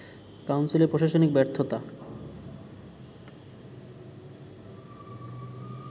কাউন্সিলের প্রশাসনিক ব্যর্থতা